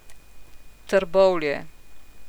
Trbovlje.